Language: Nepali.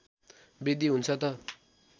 वृद्धि हुन्छ त